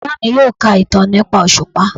Baba mi yoo ka itan nipa oṣupa